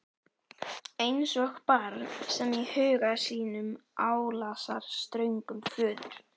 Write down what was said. Eins og barn sem í huga sínum álasar ströngum föður.